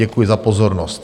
Děkuji za pozornost.